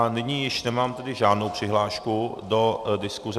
A nyní již nemám tedy žádnou přihlášku do diskuse.